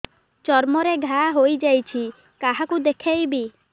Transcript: ଚର୍ମ ରେ ଘା ହୋଇଯାଇଛି କାହାକୁ ଦେଖେଇବି